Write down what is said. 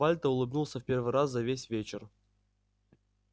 вальто улыбнулся в первый раз за весь вечер